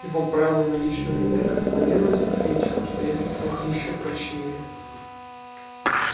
его право на личную неприкосновенность при этих обстоятельствах ещё прочнее